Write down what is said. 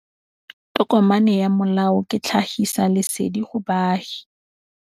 Tokomane ya molao ke tlhagisi lesedi go baagi.